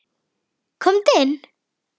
Komdu inn